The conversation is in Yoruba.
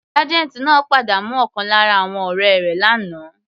Sergeant náà pàdánù ọ̀kan lára àwọn ọ̀rẹ́ rẹ̀ l'ana.